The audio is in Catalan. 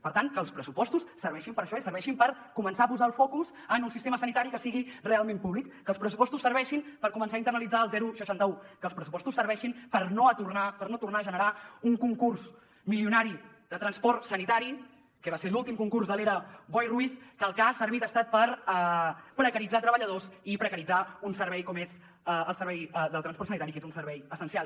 per tant que els pressupostos serveixin per a això i serveixin per començar a posar el focus en un sistema sanitari que sigui realment públic que els pressupostos serveixin per començar a internalitzar el seixanta un que els pressupostos serveixin per no tornar a generar un concurs milionari de transport sanitari que va ser l’últim concurs de l’era boi ruiz que per al que ha servit ha estat per precaritzar treballadors i precaritzar un servei com és el servei del transport sanitari que és un servei essencial